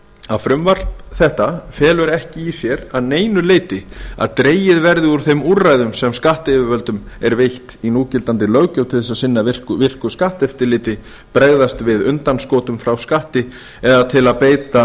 að frumvarp þetta felur ekki í sér að neinu leyti að dregið verði úr þeim úrræðum sem skattyfirvöldum er veitt í núgildandi löggjöf til að sinna virku skatteftirliti bregðast við undanskotum frá skatti eða til að beita